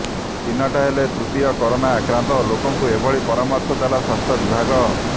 ଚିହ୍ନଟ ହେଲେ ତୃତୀୟ କୋରୋନା ଆକ୍ରାନ୍ତ ଲୋକଙ୍କୁ ଏଭଳି ପରାମର୍ଶ ଦେଲା ସ୍ୱାସ୍ଥ୍ୟ ବିଭାଗ